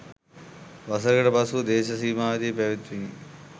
වසරකට පසුව දේශ සීමාවේදී පැවැත්විණි